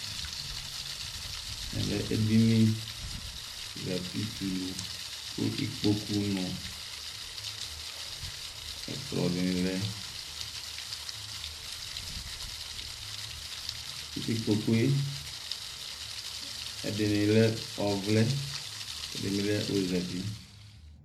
Ɛmɛ edini zǝtɩ tɛ ʋlʋ, kʋ Ɩkpokʋ nʋ ɛkplɔ dɩnɩ lɛ, kʋ ɩkpokʋ yɛ ɛdɩnɩ lɛ ɔvlɛ, ɛdɩnɩ lɛ ozǝtɩ